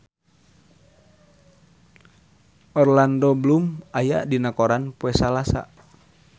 Orlando Bloom aya dina koran poe Salasa